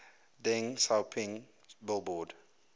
deng xiaoping billboard